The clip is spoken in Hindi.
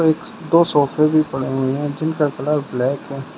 एक दो सोफे भी पड़े हुए हैं जिनका कलर ब्लैक है।